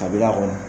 Kabila kɔnɔ